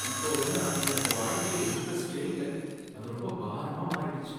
இப்போவெல்லாம் எனக்கு வாழ்க்கையில இன்டரஸ்டே இல்ல, அது ரொம்ப பாரமா மாறிடுச்சு.